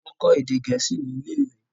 wón kò èdè gẹẹsi Ní ilé ìwé.